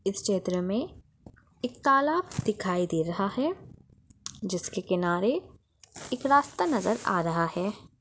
इस चित्र मे एक तालाब दिखाई दे रहा है जिसके किनारे एक रास्ता नजर आ रहा है।